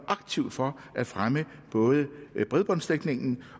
aktivt for at fremme bredbåndsdækningen